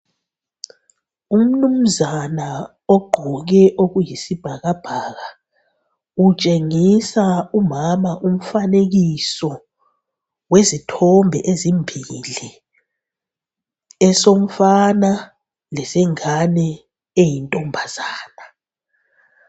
Umnumzana ogqoke okuyisibhakabhaka utshengisa umama umfanekiso wezithombe ezimbili, esomfana lesengane eyintombazana.